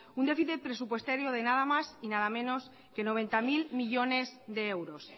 un déficit presupuestario de nada más y nada menos que noventa mil millónes de euros